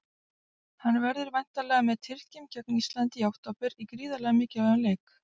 Hann verður væntanlega með Tyrkjum gegn Íslandi í október í gríðarlega mikilvægum leik.